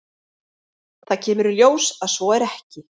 Það kemur í ljós að svo er ekki.